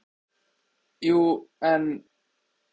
Jú, en.